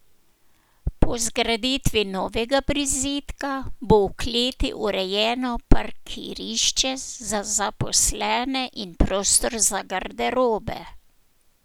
Po zgraditvi novega prizidka bo v kleti urejeno parkirišče za zaposlene in prostor za garderobe.